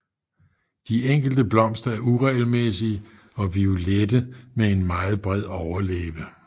De enkelte blomster er uregelmæssige og violette med en meget bred overlæbe